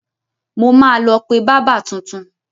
Mo máa lọ pé bábà tuntun.